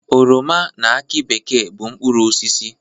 Oroma na akị bekee bụ mkpụrụosisi.